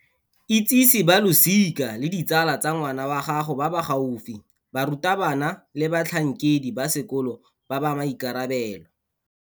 Itsise ba losika le ditsala tsa ngwana wa gago ba ba gaufi, barutabana le batlhankedi ba sekolo ba ba maikarabelo.